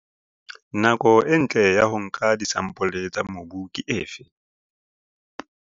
Nako e ntle ya ho nka disampole tsa mobu ke efe?